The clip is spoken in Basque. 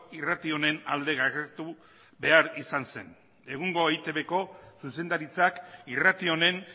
irrati honen alde izan zen egungo eitbko zuzendaritzak irrati honen